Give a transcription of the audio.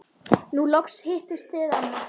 Nú loks hittist þið amma.